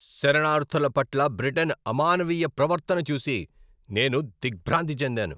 శరణార్ధుల పట్ల బ్రిటన్ అమానవీయ ప్రవర్తన చూసి నేను దిగ్భ్రాంతి చెందాను.